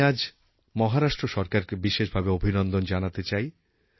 আমি আজ মহারাষ্ট্র সরকারকে বিশেষভাবে অভিনন্দন জানাতে চাই